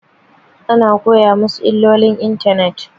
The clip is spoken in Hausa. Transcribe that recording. Ana koya masu illolin intanet